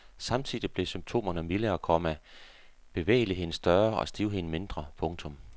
Samtidig blev symptomerne mildere, komma bevægeligheden større og stivheden mindre. punktum